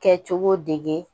Kɛcogo dege